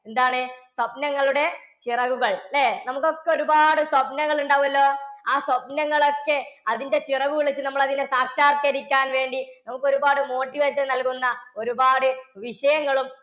എന്താണ് സ്വപ്നങ്ങളുടെ ചിറകുകൾ അല്ലെ, നമുക്ക് ഒക്കെ ഒരുപാട് സ്വപനങ്ങൾ ഉണ്ടാകുമെല്ലോ. ആ സ്വപ്‌നങ്ങൾ ഒക്കെ അതിന്റെ ചിറകുപിടിച്ചു നമ്മൾ അതിനെ സാക്ഷാത്കരിക്കാൻ വേണ്ടി നമുക്ക് ഒരുപാട് motivation നൽകുന്ന ഒരുപാട് വിഷയങ്ങളും